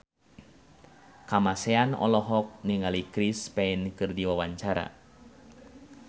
Kamasean olohok ningali Chris Pane keur diwawancara